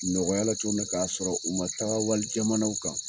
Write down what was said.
Nɔgɔyala cogo mina k'a sɔrɔ u ma taga walijamanw kan